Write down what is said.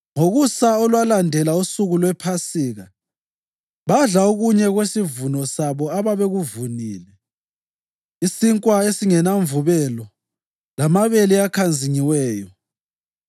Ngokusa olwalandela usuku lwePhasika badla okunye kwesivuno sabo ababekuvunile: isinkwa esingelamvubelo lamabele akhanzingiweyo.